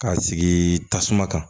K'a sigi tasuma kan